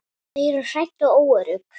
Þau eru hrædd og óörugg.